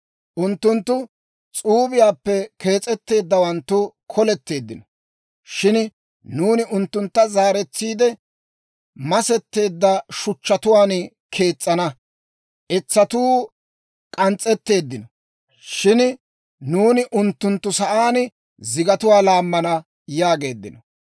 Unttunttu, «S'uubiyaappe kees'etteeddawanttu koletteeddino; shin nuuni unttuntta zaaretsiide, masetteedda shuchchatuwaan kees's'ana; etsatuu k'ans's'etteeddino; shin nuuni unttunttu sa'aan zigatuwaa laammana» yaageeddino.